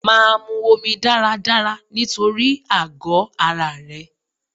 Máa mu omi dáradára nítorí àgọ ara rẹ.